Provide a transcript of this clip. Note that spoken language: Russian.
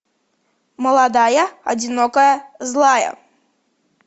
молодая одинокая злая